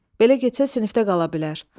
Belə getsə sinifdə qala bilər.